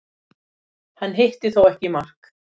Hann hitti þó ekki í mark